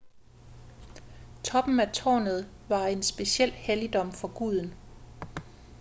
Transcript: toppen af tårnet var en speciel helligdom for guden